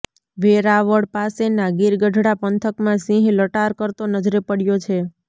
વેરાવળ પાસેના ગીરગઢડા પંથકમાં સિંહ લટાર કરતો નજરે પડ્યો છે